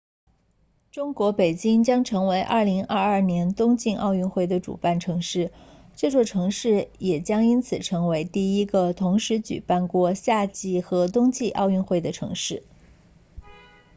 中国北京将成为2022年冬季奥运会的主办城市这座城市也将因此成为第一个同时举办过夏季和冬季奥运会的城市